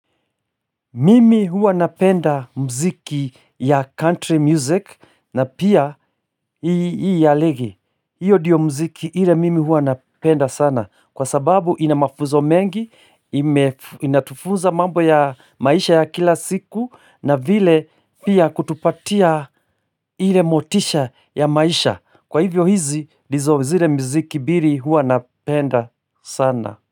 Mimi huwa napenda muziki ya country music na pia hii ya ligi, hiyo ndiyo mziki ile mimi huwa napenda sana kwa sababu inamafuzo mengi, inatufuza mambo ya maisha ya kila siku na vile pia kutupatia ile motisha ya maisha, kwa hivyo hizi ndizo zile muziki mbili huwa napenda sana.